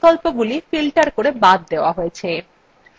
বাকি বিকল্পগুলি filtered করে বাদ দেওয়া হয়েছে